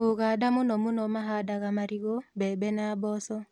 Ūganda mũno mũno mahandaga marigũ, mbembe na mboco